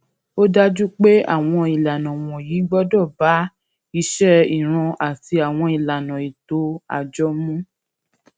ó dájú pé àwọn ìlànà wònyí gbódò bá iṣé ìran àti àwọn ìlànà ètò àjọ mu